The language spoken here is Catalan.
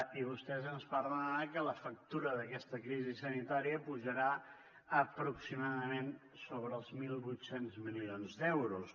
i vostès ens parlen ara que la factura d’aquesta crisi sanitària pujarà aproximadament sobre els mil vuit cents milions d’euros